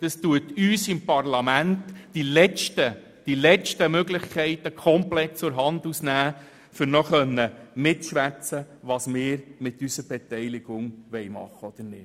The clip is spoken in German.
Es würde uns im Parlament die letzten Möglichkeiten aus der Hand nehmen, noch mitzubestimmen, was wir mit unserer Beteiligung machen wollen oder nicht.